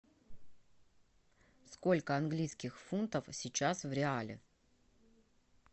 сколько английских фунтов сейчас в реале